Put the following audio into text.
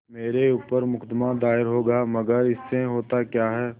मेरे ऊपर मुकदमा दायर होगा मगर इससे होता क्या है